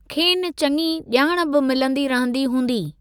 खेनि चङी जा॒ण बि मिलंदी रहंदी हूंदी।